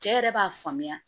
Cɛ yɛrɛ b'a faamuya